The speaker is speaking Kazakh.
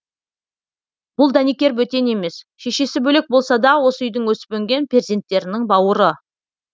бұл дәнекер бөтен емес шешесі бөлек болса да осы үйдің өсіп өнген перзенттерінің бауыры